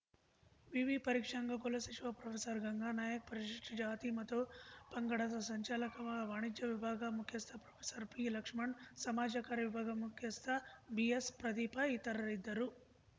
ವಿವಿ ಪರೀಕ್ಷಾಂಗ ಕುಲ ಸಚಿವ ಪ್ರೊಫೆಸರ್ಗಂಗಾ ನಾಯಕ ಪರಿಶಿಷ್ಟಜಾತಿ ಮತು ಪಂಗಡದ ಸಂಚಾಲಕ ವಾಣಿಜ್ಯ ವಿಭಾಗ ಮುಖ್ಯಸ್ಥ ಪ್ರೊಫೆಸರ್ಪಿಲಕ್ಷ್ಮಣ್‌ ಸಮಾಜ ಕಾರ್ಯ ವಿಭಾಗ ಮುಖ್ಯಸ್ಥ ಬಿಎಸ್‌ ಪ್ರದೀಪ ಇತರರಿದ್ದರು